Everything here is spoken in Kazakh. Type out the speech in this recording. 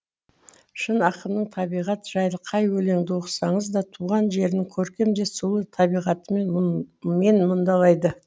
шын ақынның табиғат жайлы қай өлеңді оқысаңыз да туған жерін көркем де сұлу табиғаты мен мұндалайды